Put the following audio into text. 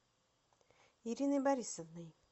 ириной борисовной